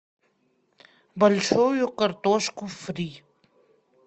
большую картошку фри